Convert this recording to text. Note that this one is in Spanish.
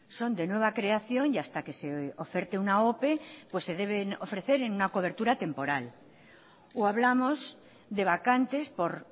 son de nueva creación y hasta que se oferte una ope se deben ofrecer en una cobertura temporal o hablamos de vacantes por